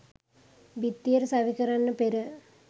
බිත්තියට සවි කරන්න පෙර.